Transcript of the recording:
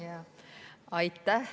Aitäh!